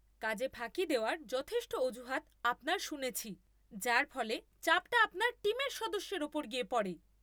কাজে ফাঁকি দেওয়ার যথেষ্ট অজুহাত আপনার শুনেছি যার ফলে চাপটা আপনার টিমের সদস্যের ওপর গিয়ে পড়ে!